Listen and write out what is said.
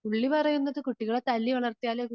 പുള്ളി പറയുന്നത് കുട്ടികളെ തല്ലി വളർത്തിയാൽ